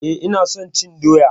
Eh ina son cin doya.